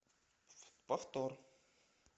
повтор